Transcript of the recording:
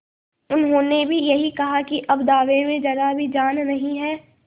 उन्होंने भी यही कहा कि अब दावे में जरा भी जान नहीं है